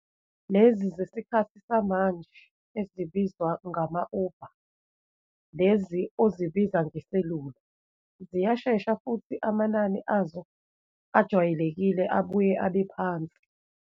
Lezi zesikhathi samanje ezibizwa ngama-Uber, lezi ozibiza ngeselula, ziyashesha futhi amanani azo ajwayelekile abuye abe phansi.